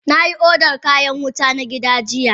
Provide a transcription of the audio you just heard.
Na yi odan kayan wuta na gida jiya.